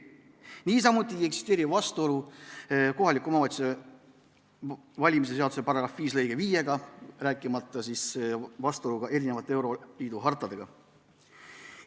Niisamuti ei eksisteeri vastuolu kohaliku omavalitsuse volikogu valimise seaduse § 5 lõikega 5, rääkimata vastuolust euroliidu hartadega.